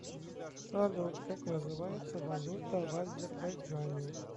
салют как называется валюта в азербайджане